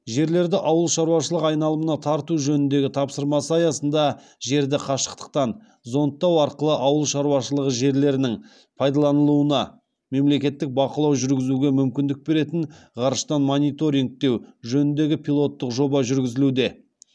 жерлерді ауыл шаруашылығы айналымына тарту жөніндегі тапсырмасы аясынды жерді қашықтықтан зондтау арқылы ауыл шаруашылығы жерлерінің пайдаланылуына мемлекеттік бақылау жүргізуге мүмкіндік беретін ғарыштан мониторингтеу жөніндегі пилоттық жоба жүргізілуде